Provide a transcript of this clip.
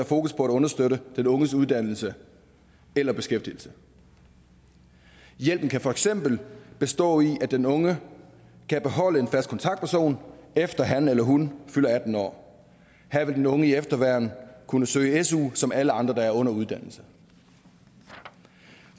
fokus på at understøtte den unges uddannelse eller beskæftigelse hjælpen kan for eksempel bestå i at den unge kan beholde en fast kontaktperson efter han eller hun fylder atten år her vil den unge i efterværn kunne søge su som alle andre der er under uddannelse